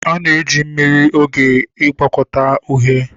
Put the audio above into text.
A na- eji mmiri n'oge ngwọkọta uhie